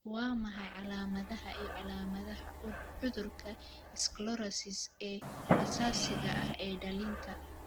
Waa maxay calaamadaha iyo calaamadaha cudurka sclerosis ee aasaasiga ah ee dhallinta?